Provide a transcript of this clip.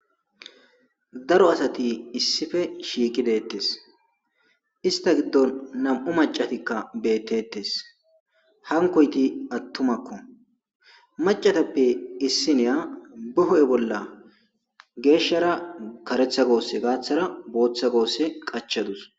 daro asati issife shiiki deettes ista giddon nam7u macatikka beettettes hankoyti attumakko macatappe issiniya beho7e bolla geeshshara karetha goosse gaaththara booththa goosse qachadus